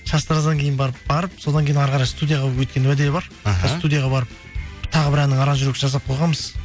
шаштараздан кейін барып содан кейін әрі қарай студияға өткен уәде бар іхі сол студияға барып тағы бір әннің аранжировкасын жасап қойғанбыз